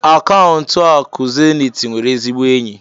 akaụntụ akụ zenith nwere ezigbo enyi.